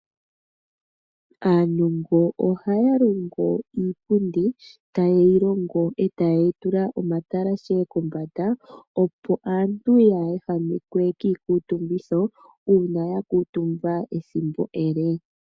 Aanongo ohaya longo iipundi, taye yi longo etaye yi tula omatalashe kombanda opo aantu ngele ya kuutumba kaaya ehamekwe kiikutumbitho uuna ya kutumba ethimbo ele.